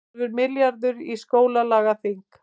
Hálfur milljarður í stjórnlagaþing